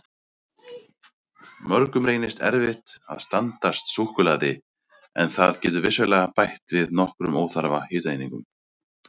Mörgum reynist erfitt að standast súkkulaði en það getur vissulega bætt við nokkrum óþarfa hitaeiningum.